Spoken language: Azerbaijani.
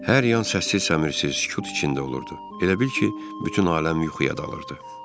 Hər yan səssiz-səmirsiz, sükut içində olurdu, elə bil ki, bütün aləm yuxuya dalırdı.